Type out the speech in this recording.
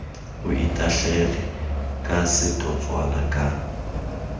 o itahlele ka setotswana ka